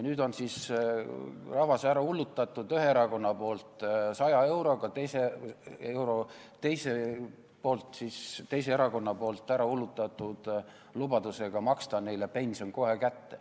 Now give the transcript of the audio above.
Nüüd on siis üks erakond rahva ära hullutanud 100 euroga, teine erakond on rahva ära hullutanud lubadusega maksta neile pension kohe kätte.